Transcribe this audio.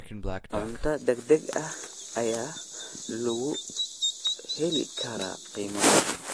Cunto degdeg ah ayaa lagu heli karaa qiimo jaban.